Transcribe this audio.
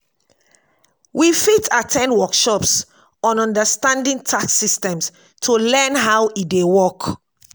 we fit at ten d workshops on understanding tax systems to learn how e dey work.